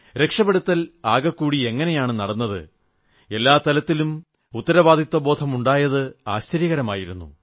രക്ഷപ്പെടുത്തൽ ആകെക്കൂടി എങ്ങനെയാണു നടന്നത് എല്ലാ തലത്തിലും ഉത്തരവാദിത്തബോധമുണ്ടായത് ആശ്ചര്യകരമായിരുന്നു